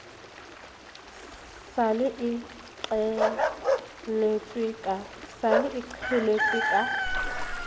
sa le e qheletswe ka